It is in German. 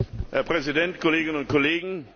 Herr Präsident, Kolleginnen und Kollegen!